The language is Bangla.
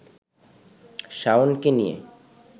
শাওনকে নিয়ে